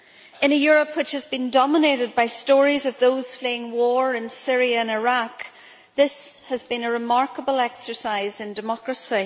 In a Europe which has been dominated by stories of those fleeing war in Syria and Iraq, this has been a remarkable exercise in democracy.